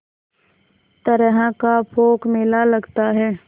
तरह का पोंख मेला लगता है